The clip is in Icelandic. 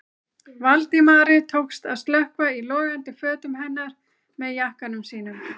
Valdimari tókst að slökkva í logandi fötum hennar með jakkanum sínum.